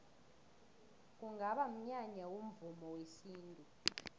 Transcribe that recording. kungaba mnyanya womvumo wesintu